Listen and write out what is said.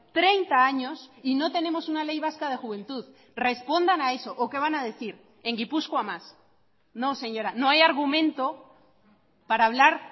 treinta años y no tenemos una ley vasca de juventud respondan a eso o qué van a decir en gipuzkoa más no señora no hay argumento para hablar